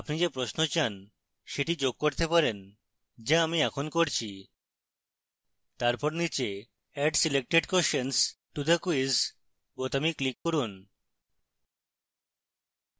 আপনি যে প্রশ্ন চান সেটি যোগ করতে চান যা আমি এখন করছি তারপর নীচে add selected questions to the quiz বোতামে click করুন